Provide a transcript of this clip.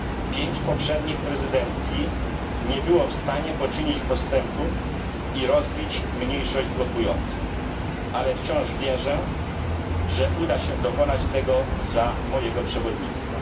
Pięć poprzednich prezydencji nie było w stanie poczynić postępów i rozbić mniejszości blokującej ale wciąż wierzę, że uda się dokonać tego za mojego przewodnictwa.